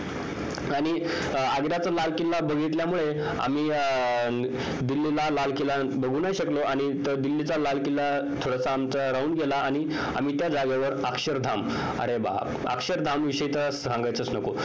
आणि आग्र्याचा लाल किल्ला बघितल्यामुळे आम्ही दिल्लीला लाल किल्ला बघू नाही शकलो आणि दिल्लीचा लाल किल्ला आमचा राहून गेला आणि आम्ही त्या जागेवर अक्षरधाम अक्षरधाम विषयी तर सांगायलाच नको